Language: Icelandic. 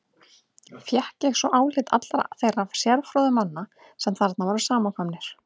Fékk ég svo álit allra þeirra sérfróðu manna, sem þarna voru samankomnir.